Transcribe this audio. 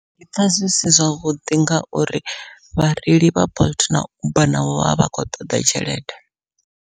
Ndi pfha zwi si zwavhuḓi ngauri vhareili vha bolt na uber navho vha vha khou ṱoḓa tshelede.